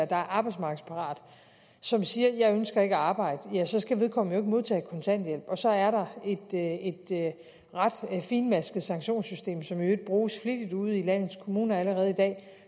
der er arbejdsmarkedsparat som siger jeg ønsker ikke at arbejde så skal vedkommende modtage kontanthjælp og så er der et ret finmasket sanktionssystem som i øvrigt bruges flittigt ude i landets kommuner allerede i dag